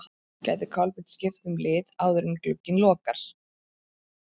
Gæti Kolbeinn skipt um lið áður en glugginn lokar?